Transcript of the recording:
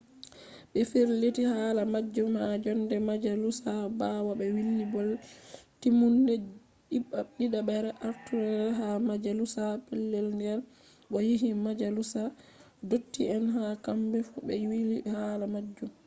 ɓe firliti hala majjum ha jonde majalusa ɓawo ɓe wili bolle-timmude ɗidaɓre artundere ha majalusa petel nden bo'o yahi majalusa ndotti'en ha kambefu be wili hala majum